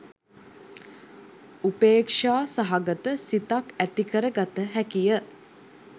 උපේක්‍ෂා සහගත සිතක් ඇති කරගත හැකිය.